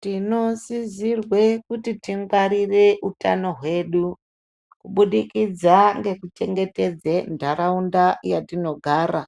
Tinosisirwe kuti tingwarire utano hwedu kubudikidza ngeku chengetedze ntaraunda yatinogara.